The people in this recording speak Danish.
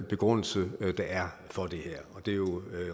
begrundelse der er for det her det er jo